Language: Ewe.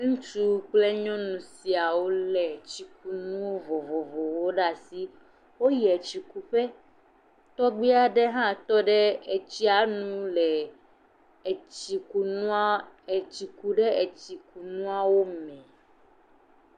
Ŋutsu kple nyɔnu siawo lé tsikunu vovovowo ɖe asi. Woyi tsikuƒe, tɔgbi aɖe hã tɔ ɖe tsia nu le etsikunua etsi kum ɖe tsikunuawo me.